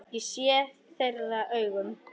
Ég sé þeirra augum.